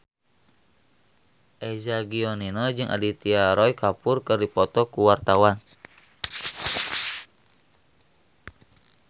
Eza Gionino jeung Aditya Roy Kapoor keur dipoto ku wartawan